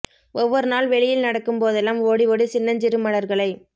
ஒவ்வொரு நாள் வெளியில் நடக்கும் போதெல்லாம் ஓடி ஓடி சின்னஞ்சிறு மலர்களை